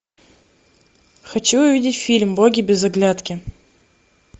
хочу увидеть фильм боги без оглядки